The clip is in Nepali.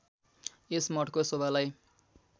यस मठको शोभालाई